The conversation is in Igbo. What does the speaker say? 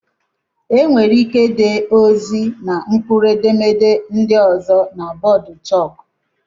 Enwere ike dee ozi na mkpụrụedemede ndị ọzọ na bọọdụ chók